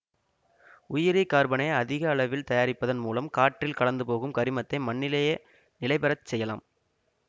உயிரி கார்பனை அதிக அளவில் தயாரிப்பதன் மூலம் காற்றில் கலந்துபோகும் கரிமத்தை மண்ணிலேயே நிலைபெற செய்யலாம்